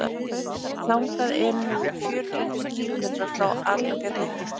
þangað eru nú um fjörutíu og fimm kílómetrar frá akrafjalli